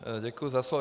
Děkuji za slovo.